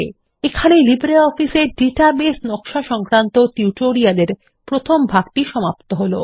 এখানেই LibreOffice database design সংক্রান্ত tutorial এর প্রথম ভাগ সমাপ্ত হলো